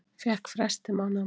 Fékk frest til mánaðamóta